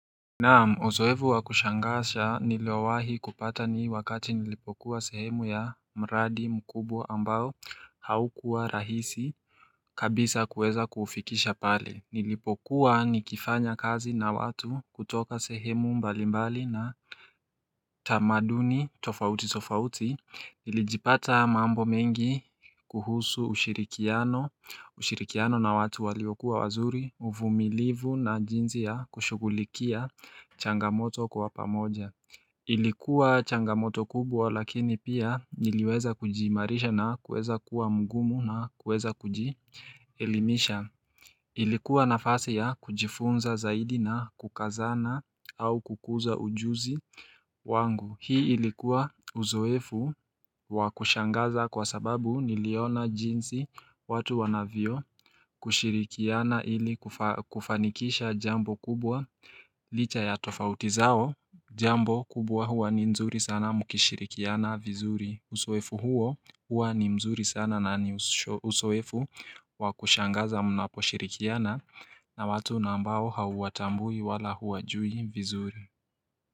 Naam uzoevu wa kushangasha nilowahi kupata nii wakati nilipokuwa sehemu ya mradi mkubwa ambao haukuwa rahisi kabisa kuweza kufikisha pale nilipokuwa nikifanya kazi na watu kutoka sehemu mbalimbali na tamaduni tofauti tofauti Ilijipata mambo mengi kuhusu ushirikiano na watu waliokuwa wazuri uvumilivu na jinzi ya kushugulikia changamoto kwa pamoja Ilikuwa changamoto kubwa lakini pia niliweza kujimarisha na kueza kuwa mgumu na kueza kuji elimisha Ilikuwa nafasi ya kujifunza zaidi na kukazana au kukuza ujuzi wangu hii ilikuwa uzoefu wakushangaza kwa sababu niliona jinsi watu wanavyo kushirikiana ili kufanikisha jambo kubwa licha ya tofauti zao Jambo kubwa huwa ni mzuri sana mukishirikiana vizuri uzoefu huo huwa ni mzuri sana na ni uzoefu wakushangaza mnaposhirikiana na watu nambao hauwatambui wala huwajui vizuri.